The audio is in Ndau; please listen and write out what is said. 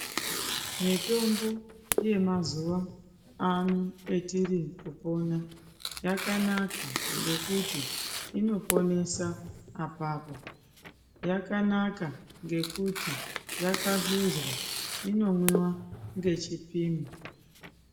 Mitombo yemazuwaano etiri kupona yakanaka ngekuti inoponesa apapo yakanaka ngekuti yakahluza inomwiwa ngechipimo.